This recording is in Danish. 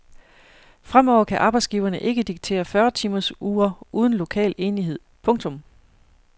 Fremover kan arbejdsgiverne ikke diktere fyrre timers uger uden lokal enighed. punktum